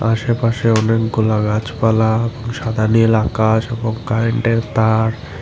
আসে পাশে অনেকগুলা গাছপালা সাদা নীল আকাশ এবং কারেন্টের তার।